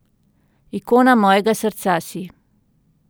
Ikona mojega srca si.